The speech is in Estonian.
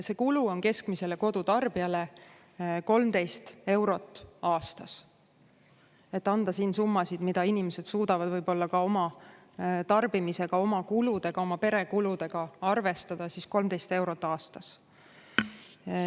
See kulu on keskmisele kodutarbijale 13 eurot aastas – et anda siin summasid, mida inimesed suudavad ka oma tarbimisega, oma kuludega, oma pere kuludega arvestada, siis 13 eurot aastas.